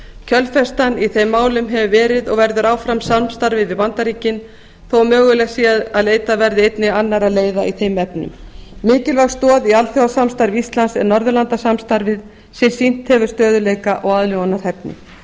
kjölfestan í þeim málum hefur verið og verður áfram samstarfið við bandaríkin þó mögulegt sé að leitað verði einnig annarra leiða í þeim efnum mikilvæg stoð í alþjóðasamstarfi íslands er norðurlandasamstarfið sem sýnt hefur stöðugleika og aðlögunarhæfni